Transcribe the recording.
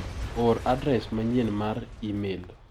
Or adres manyien mar imel